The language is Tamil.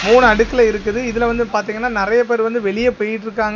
மூணு அடுக்குல இருக்குது இதுல வந்து பாத்தீங்கன்னா நெறைய பேர் வந்து வெளிய போயிட்ருக்காங்க.